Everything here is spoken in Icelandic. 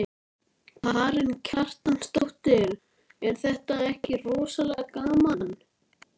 Það er alltaf sama afskiptasemin í henni.